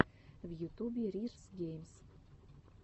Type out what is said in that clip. в ютубе рирз геймс